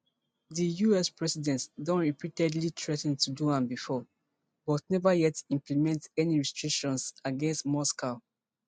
di us president don repeatedly threa ten to do am before but neva yet implement any restrictions against moscow